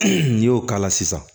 n'i y'o k'a la sisan